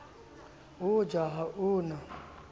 ho ja ha o na